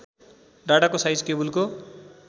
डाटाको size केबुलको